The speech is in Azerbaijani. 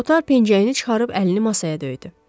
Kotar pencəyini çıxarıb əlini masaya döydü.